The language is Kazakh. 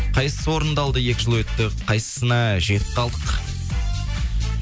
қайсысы орындалды екі жыл өтті қайсысына жетіп қалдық